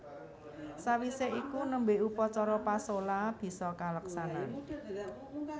Sawisé iku nembe upacara pasola bisa kaleksanan